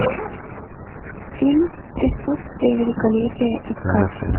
фильм присутствие великолепия искать